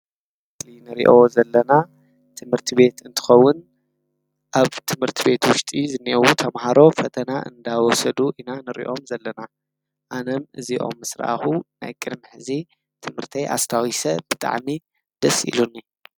እቲ ንሪኦ ዘለና ትምህርቲ ቤት እንትኸውን ኣብ ትምህርቲ ቤት ውሽጢ ዝኔአዉ ተመሃሮ ፈተና እናወሰዱ ኢና ንሪኦም ዘለና፡፡ ኣነም እዚኦም ምስ ረአኹ ናይ ቅድሚ ሕዚ ትምህርተይ ኣስታዊሰ ብጣዕሚ ደስ ኢሉኒ፡፡